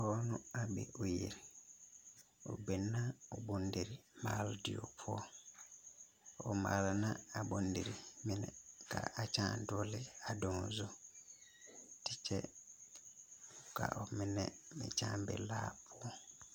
Dɔɔ la a mɛ o yiri o biŋ la o bondirii maaloo die poɔ o maala la a bondirii mine ka a nyaw dogeleva daŋaa zu a kyɛ kaa mine meŋ nyaa be kaa poɔ